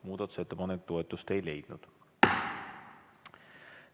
Muudatusettepanek toetust ei leidnud.